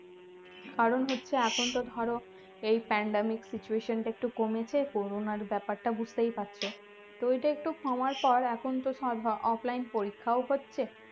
কারণ হচ্ছে এখন তো ধরো এই pandemic situation টা একটু কমেছে কোরোনার ব্যাপারটা বুঝতেই পারছ তো এটা একটু কমার পর এখন তো সব offline পরীক্ষাও হচ্ছে